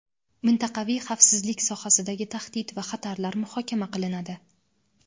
mintaqaviy xavfsizlik sohasidagi tahdid va xatarlar muhokama qilinadi.